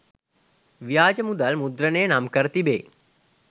ව්‍යාජ මුදල් මුද්‍රණය නම්කර තිබේ.